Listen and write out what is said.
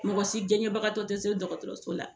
Mɔgɔ si jaɲɛbagatɔ te se dɔgɔtɔrɔso la.